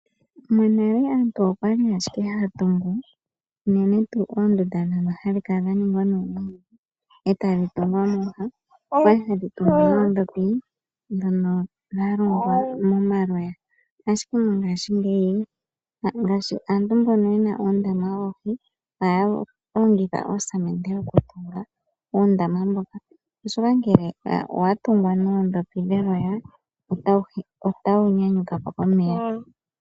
Monale aantu okwa li owala haya tungu unene oondunda ndhono dha ningwa noomwiidhi etaye dhi tungu mooha, okwa li haye dhi tungu nee noondhopi ndhono dha longwa momaloya. Ashike mongaashingeyi, ngaashi aantu mbyono ye na uundama woohi ohay longitha oosamende oku tunga uundama mboka oshoka ngele owa tungwa noondhopi dheloya, otawu nyanyuka po komeya.